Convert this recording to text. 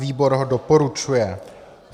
Výbor ho doporučuje.